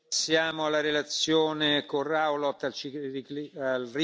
a la derecha y sobre todo a la extrema derecha europea.